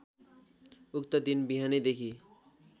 उक्त दिन बिहानैदेखि